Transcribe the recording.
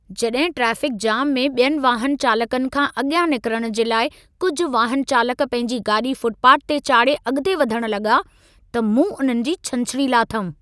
जॾहिं traffic jam में ॿियनि वाहन चालकनि खां अॻियां निकरण जे लाइ कुझि वाहनचालक पंहिंजी गाॾी फ़ुटपाथ ते चाढ़े अॻिते वधण लॻा, त मूं उन्हनि जी छंछरी लाथमि।